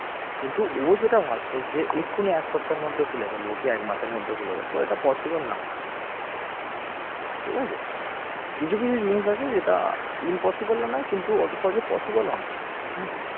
কিন্তু ও যেটা ভাবছে যে এখনই এক সপ্তাহের মধ্যে খুলে ফেলব এই এক মাসের মধ্যে খুলে ফেলব এটা possible না ঠিক আছে, কিছু কিছু জিনিস আছে যেটা impossible নয় অত সহজে possible নয়, হম